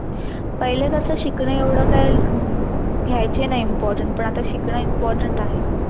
पैले कस शिकणे एवढ काय हम्म घ्याचे नाय important पण अता शिकणे important आहे.